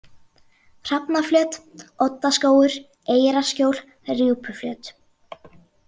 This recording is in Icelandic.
Hrafnaflöt, Oddaskógur, Eyrarskjól, Rjúpuflöt